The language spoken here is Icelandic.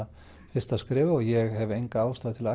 fyrsta skref og ég hef enga ástæðu til